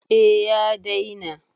A ya daina